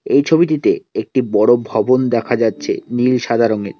এই ছবিটিতে একটি বড় ভবন দেখা যাচ্চে নীল সাদা রঙের।